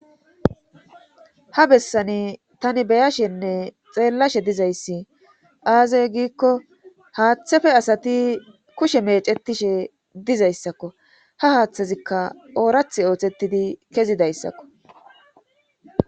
ha bessani tani beya shenne xeellashe dizayssi aazee giikko haaththefe asati kushe meecetishe dizayssakko ha haaththazikka oorath oothettidi kezidayssakko